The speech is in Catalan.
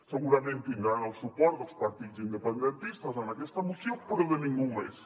segurament tindran el suport dels partits independentistes en aquesta moció però de ningú més